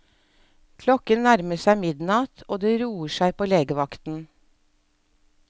Klokken nærmer seg midnatt, og det roer seg på legevakten.